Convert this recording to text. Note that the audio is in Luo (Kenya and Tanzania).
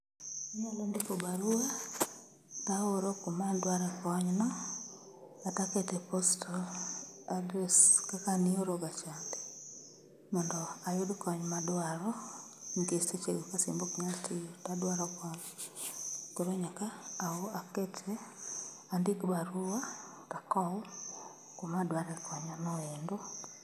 Anyalo ndiko barua, taoro kumadware konyno kata akete postal address kaka nioro ga chande. Mondo ayud kony madwaro nikech sechego ka simba ok nyal tiyo tadwaro kony, koro nyaka akete andik barua takow kumadware konyno endo.